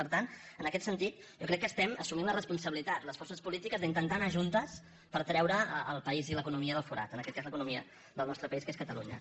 per tant en aquest sentit jo crec que estem assumint la respon·sabilitat les forces polítiques d’intentar anar juntes per treure el país i l’economia del forat en aquest cas l’eco·nomia del nostre país que és catalunya